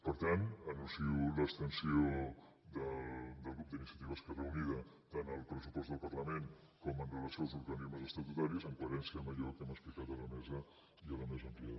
per tant anuncio l’abstenció del grup d’iniciativa esquerra unida tant al pressupost del parlament com amb relació als organismes estatutaris en coherència amb allò que hem explicat a la mesa i a la mesa ampliada